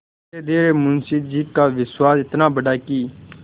धीरेधीरे मुंशी जी का विश्वास इतना बढ़ा कि